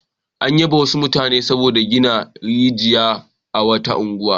An yabawa wasu mutane saboda gina rijiya a wata unguwa.